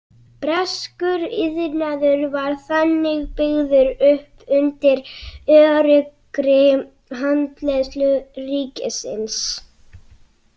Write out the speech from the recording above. Breskur iðnaður var þannig byggður upp undir öruggri handleiðslu ríkisins.